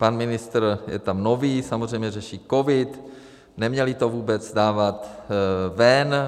Pan ministr je tam nový, samozřejmě řeší covid, neměli to vůbec dávat ven.